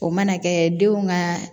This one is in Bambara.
O mana kɛ denw ka